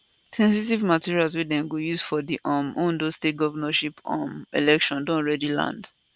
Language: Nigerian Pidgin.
sensitive materials wey dem go use for di um ondo state govnorship um election don already land